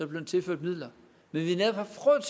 blevet tilført midler men vi